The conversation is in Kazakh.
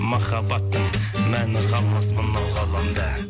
махаббаттың мәні қалмас мынау ғаламда